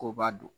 K'o b'a don